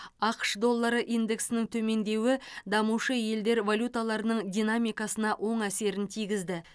ақш доллары индексінің төмендеуі дамушы елдер валюталарының динамикасына оң әсерін тигізді